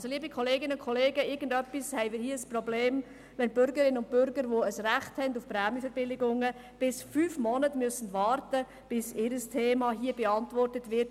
Also, liebe Kolleginnen und Kollegen, irgendwie haben wir hier ein Problem, wenn die Bürgerinnen und Bürger, die ein Recht auf Prämienverbilligungen haben, bis zu fünf Monaten warten müssen, bis ihr Thema hier beantwortet wird.